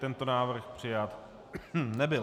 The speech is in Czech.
Tento návrh přijat nebyl.